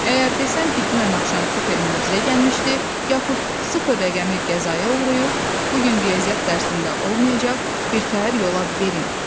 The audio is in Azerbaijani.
Əgər desəm ki, dünən axşam supermen bizə gəlmişdi, yaxud sıfır rəqəmi qəzaya uğrayıb, bu gün riyaziyyat dərsində olmayacaq, birtəhər yola verin,